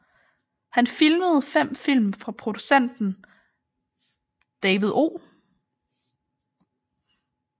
Han filmede fem film for produceren David O